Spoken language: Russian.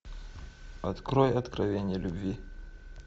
открой откровение любви